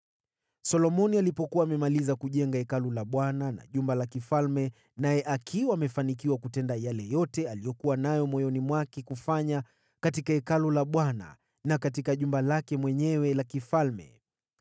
Solomoni alipomaliza kujenga Hekalu la Bwana na jumba la kifalme, naye akiwa amefanikiwa kutenda yale yote aliyokuwa nayo moyoni mwake kufanya katika Hekalu la Bwana na katika jumba lake mwenyewe la kifalme,